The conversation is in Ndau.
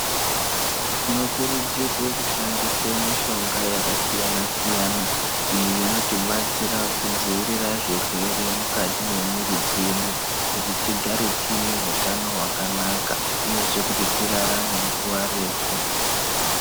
Tinokurudzirwe kushandise mishonga yakasiyana siyana iyi inotibatsira kudzivirira zvirwere mukati mwemwiri dzedu kuti tigare tiine hutano hwakanaka uyezve kuti tirarame nguwa refu.